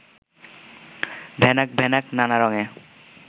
ড্যানাক ড্যানাক নানা রঙ্গে